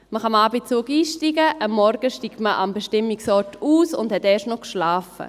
Man kann am Abend in den Zug einsteigen, am Morgen steigt man am Bestimmungsort aus und hat erst noch geschlafen.